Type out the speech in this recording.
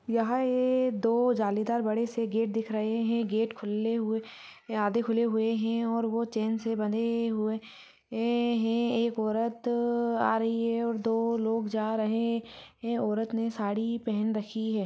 यहाँ ए दो जालीदार बड़े से गेट दिख रहे हैं गेट खुल्ले हुए आधे खुले हुए हैं और वो चैन से बंधे हुए ए एक औरत त आ रही हैं और दो लोग जा रहे ए है औरत ने साड़ी पेहेन रखी है।